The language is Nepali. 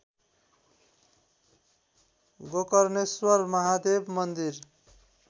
गोकर्णेश्वर महादेव मन्दिर